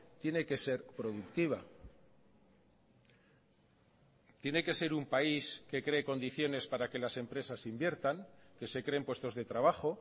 tiene que ser productiva tiene que ser un país que cree condiciones para que las empresas inviertan que se creen puestos de trabajo